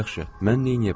Yaxşı, mən neyləyə bilərdim?